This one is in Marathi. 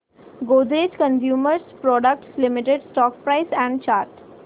Godrej consumer products limited stock price and chart